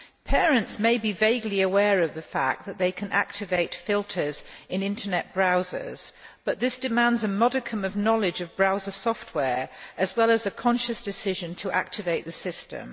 Parents may be vaguely aware of the fact that they can activate filters in Internet browsers, but this demands a modicum of knowledge of browser software, as well as a conscious decision to activate the system.